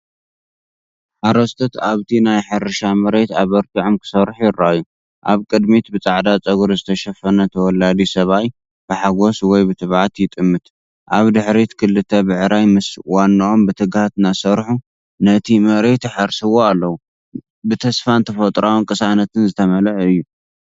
ሓረስቶት ኣብቲ ናይ ሕርሻ መሬት ኣበርቲዖም ክሰርሑ ይረኣዩ። ኣብ ቅድሚት ብጻዕዳ ጸጕሪ ዝተሸፈነ ተወላዲ ሰብኣይ ብሓጐስ ወይ ብትዕቢት ይጥምት። ኣብ ድሕሪት ክልተ ብዕራይ ምስ ዋናኦም ብትግሃት እናሰርሑ ነቲ መሬት ይሓርስዎ ኣለዉ። ብተስፋን ተፈጥሮኣዊ ቅሳነትን ዝተመልአ እዩ።